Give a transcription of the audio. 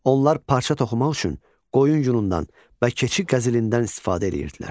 Onlar parça toxumaq üçün qoyun yunundan və keçi qəzilindən istifadə edirdilər.